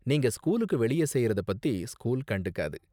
நீங்க ஸ்கூலுக்கு வெளியே செய்யறத பத்தி ஸ்கூல் கண்டுக்காது.